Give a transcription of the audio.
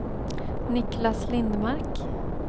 Niclas Lindmark